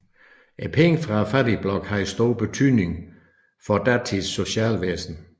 Pengene fra fattigblokken havde stor betydning for datidens socialvæsen